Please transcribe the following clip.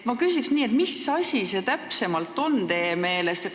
Ma küsiks nii, et mis asi see rahvareform täpsemalt teie meelest on.